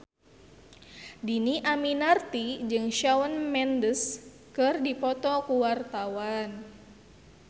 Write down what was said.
Dhini Aminarti jeung Shawn Mendes keur dipoto ku wartawan